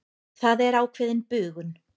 Það er ákveðin bugun.